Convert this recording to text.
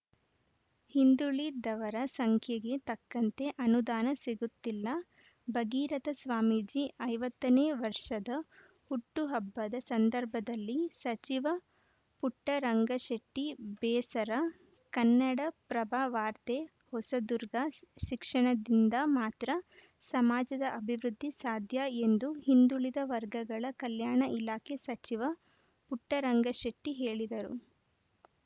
ಹಿಂದುಳಿದವರ ಸಂಖ್ಯೆಗೆ ತಕ್ಕಂತೆ ಅನುದಾನ ಸಿಗುತ್ತಿಲ್ಲ ಭಗೀರತ ಸ್ವಾಮೀಜಿ ಐವತ್ತ ನೇ ವರ್ಷದ ಹುಟ್ಟುಹಬ್ಬದ ಸಂದರ್ಭದಲ್ಲಿ ಸಚಿವ ಪುಟ್ಟರಂಗಶೆಟ್ಟಿಬೇಸರ ಕನ್ನಡಪ್ರಭ ವಾರ್ತೆ ಹೊಸದುರ್ಗ ಶಿಕ್ಷಣದಿಂದ ಮಾತ್ರ ಸಮಾಜದ ಅಭಿವೃದ್ಧಿ ಸಾಧ್ಯ ಎಂದು ಹಿಂದುಳಿದ ವರ್ಗಗಳ ಕಲ್ಯಾಣ ಇಲಾಖೆ ಸಚಿವ ಪುಟ್ಟರಂಗಶೆಟ್ಟಿಹೇಳಿದರು